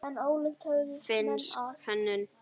Finnsk hönnun.